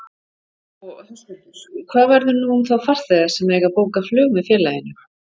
Og Höskuldur, hvað verður nú um þá farþega sem eiga bókað flug með félaginu?